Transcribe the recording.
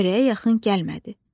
Çörəyə yaxın gəlmədi.